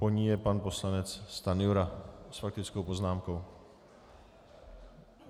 Po ní je pan poslanec Stanjura s faktickou poznámkou.